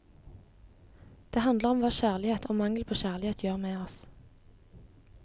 Den handler om hva kjærlighet og mangel på kjærlighet gjør med oss.